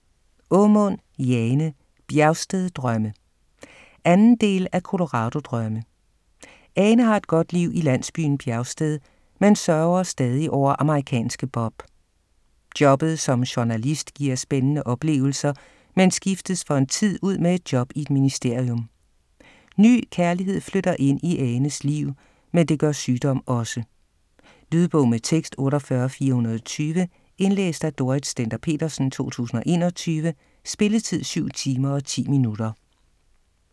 Aamund, Jane: Bjergsted drømme 2. del af Colorado drømme. Ane har et godt liv i landsbyen Bjergsted, men sørger stadig over amerikanske Bob. Jobbet som journalist giver spændende oplevelser, men skiftes for en tid ud med et job i et ministerium. Ny kærlighed flytter ind i Anes liv, men det gør sygdom også. Lydbog med tekst 48420 Indlæst af Dorrit Stender-Petersen, 2021. Spilletid: 7 timer, 10 minutter.